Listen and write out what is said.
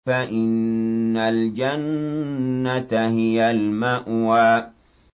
فَإِنَّ الْجَنَّةَ هِيَ الْمَأْوَىٰ